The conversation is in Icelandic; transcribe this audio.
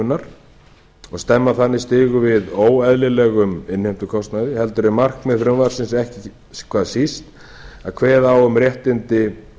innheimtuþóknunar og stemma þannig stigu við óeðlilegum innheimtukostnaði heldur er markmið frumvarpsins ekki hvað síst að kveða á um réttindi